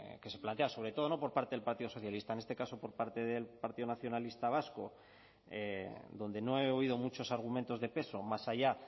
que se plantea sobre todo no por parte del partido socialista en este caso por parte del partido nacionalista vasco donde no he oído muchos argumentos de peso más allá